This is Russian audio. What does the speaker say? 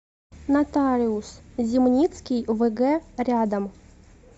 нотариус зимницкий вг рядом